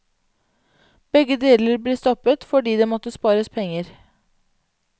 Begge deler ble stoppet fordi det måtte spares penger.